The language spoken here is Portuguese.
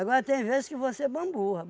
Agora tem vezes que você bamburra.